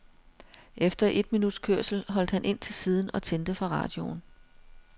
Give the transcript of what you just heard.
Efter et minuts kørsel holdt han ind til siden og tændte for radioen.